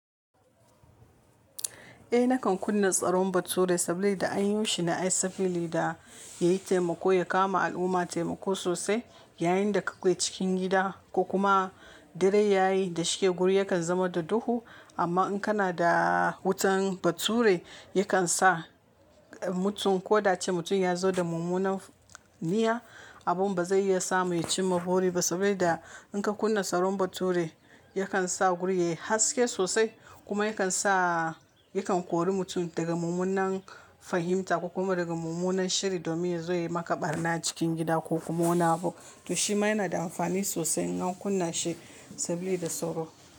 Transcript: Eh nakan kunna tsaron bature sable da anyo shi na sable da yayi taimako ya kawo ma al'umma taimako sosai yayin da ka kwai cikin gida ko kuma dare yayi da shike guri yakan zama da duhu amma in kana da wutan bature yakan sa mutum ko da ce mutum yazo da mummunan niyya abun ba zai iya sa mu yi cin mabori ba saboda in ka kunna tsaron bature yakan sa guri yayi haske sosai kuma yakan sa yakan kori mutum daga mummunan fahimta kuma daga mummunan shiri domin zai yi maka ɓarna cikin gida ko kuma wani abu. To shi ma yana da amfani sosai in ka kunna shi saboda sauro.